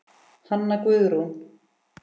Hanna Guðrún.